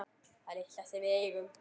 Það litla sem við eigum.